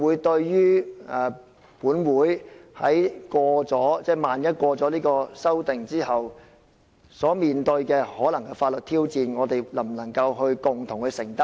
對於萬一本會因通過這項修訂而可能面對的法律挑戰，我們能否共同承擔呢？